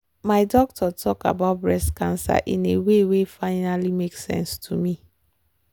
my doctor talk about breast cancer in a way wen finally make sense to me.